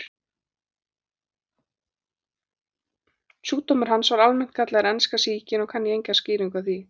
Sjúkdómur hans var almennt kallaður enska sýkin og kann ég enga skýringu á því.